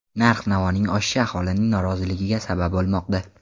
Narx-navoning oshishi aholining noroziligiga sabab bo‘lmoqda.